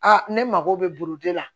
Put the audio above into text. ne mago bɛ bolo de la